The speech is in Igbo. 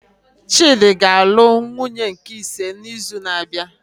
Chidi ga anụ nwunye nke ise na izu na abịa